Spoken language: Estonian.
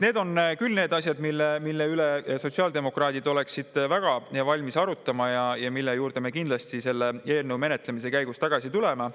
Need on küll need asjad, mille üle sotsiaaldemokraadid oleksid väga valmis arutama ja mille juurde me kindlasti selle eelnõu menetlemise käigus tagasi tuleme.